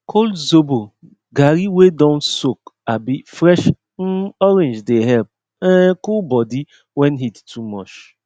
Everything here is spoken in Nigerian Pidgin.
col zobo garri wey don soak abi fresh um orange dey help um cool body when heat too mush